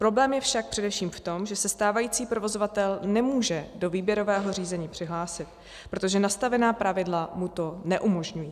Problém je však především v tom, že se stávající provozovatel nemůže do výběrového řízení přihlásit, protože nastavená pravidla mu to neumožňují.